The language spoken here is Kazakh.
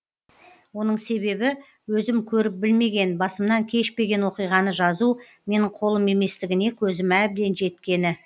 оның себебі өзім көріп білмеген басымнан кешпеген оқиғаны жазу менің қолым еместігіне көзім әбден жеткені